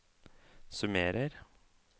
summerer